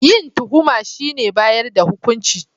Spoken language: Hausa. Yin tuhuma shine bayar da hukunci